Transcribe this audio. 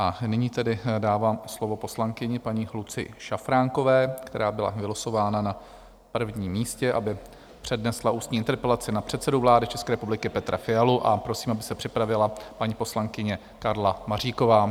A nyní tedy dávám slovo poslankyni paní Lucii Šafránkové, která byla vylosována na prvním místě, aby přednesla ústní interpelaci na předsedu vlády České republiky Petra Fialu, a prosím, aby se připravila paní poslankyně Karla Maříková.